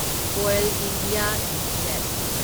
oil India limited